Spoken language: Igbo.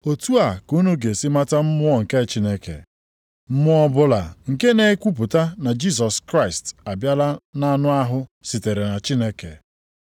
Otu a ka unu ga-esi mata Mmụọ nke Chineke: Mmụọ ọbụla nke na-ekwupụta na Jisọs Kraịst abịala nʼanụ ahụ sitere na Chineke.